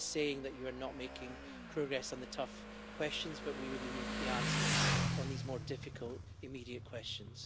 No one is saying that you are not making progress on the tough questions, but we really need the answers on these more difficult immediate questions.